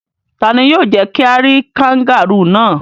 Ta ni yóò jẹ́ kí a rí kangárù náà?